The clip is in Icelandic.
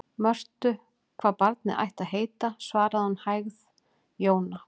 Mörtu hvað barnið ætti að heita, svaraði hún með hægð: Jóna.